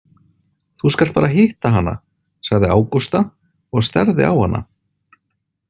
Þú skalt bara hitta hana, sagði Ágústa og starði á hana.